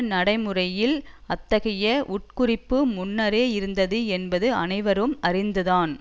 நடைமுறைகளில் அத்தகைய உட்குறிப்பு முன்னரே இருந்தது என்பது அனைவரும் அறிந்துதான்